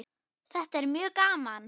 Þetta er mjög gaman.